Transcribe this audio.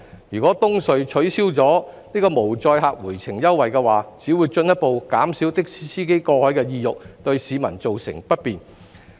如果東隧取消無載客回程優惠，只會進一步減少的士司機過海的意欲，對市民造成不便。